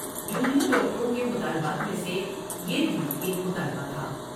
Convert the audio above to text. جو نیر ڈاکٹروں کے مطالبات میں سے یہ بھی ایک مطالبہ تھا ۔